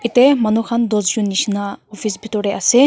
yate manu khan dosh jon nisna office bithor teh ase.